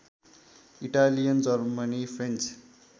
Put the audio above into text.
Italian Germany French